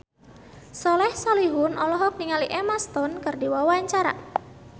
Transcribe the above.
Soleh Solihun olohok ningali Emma Stone keur diwawancara